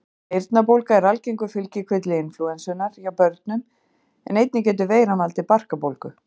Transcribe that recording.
eyrnabólga er algengur fylgikvilli inflúensunnar hjá börnum en einnig getur veiran valdið barkabólgu